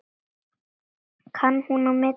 Kann hún að meta það?